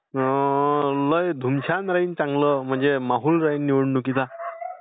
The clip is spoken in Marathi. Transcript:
मग धुमशान राहीन चांगलं म्हणजे माहोल राहीन निवडणुकीचा.